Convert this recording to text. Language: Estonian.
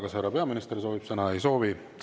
Kas härra peaminister soovib sõna?